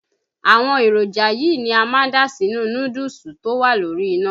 Àwọn èròjà yìí, ni a ma dà sínú núdúùsù tó wá lórí iná.